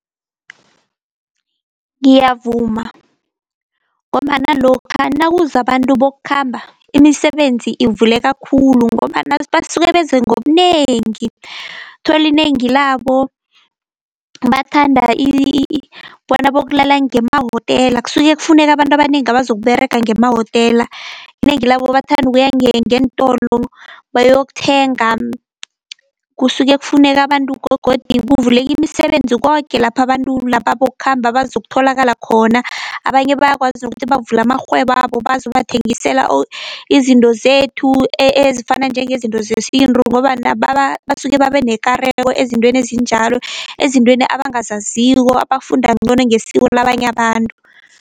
Ngiyavuma, ngombana lokha nakuza abantu bokukhamba imisebenzi ivuleka khulu, ngombana basuke beze ngobunengi thola inengi labo bathanda bona bokulala ngemahotela kusuke kufuneka abantu abanengi abazokUberega ngemahotela. Inengi labo bathanda ukuya ngeentolo bayokuthenga, kusuke kufuneka abantu gogodu kuvuleka imisebenzi koke lapha abantu laba bokukhamba bazokutholakala khona. Abanye bayakwazi nokuthi bavule amarhwebo wabo bazobathengisela izinto zethu ezifana njengezinto zesintu, ngombana basuke babe nekareko ezintweni ezinjalo ezintweni abangazaziko, bafunda ncono ngesiko labanye abantu.